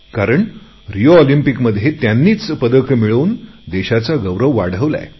कारण रिओ ऑलिम्पिंकमध्ये त्यांनी पदके मिळवून देशाचा गौरव केलाय